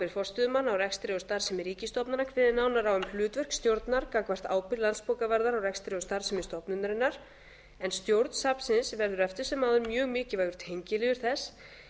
á rekstri og starfsemi ríkisstofnana kveðið nánar á um hlutverk stjórnar gagnvart ábyrgð landsbókavarðar á rekstri og starfsemi stofnunarinnar en stjórn safnsins verður eftir sem áður mjög mikilvægur tengiliður þess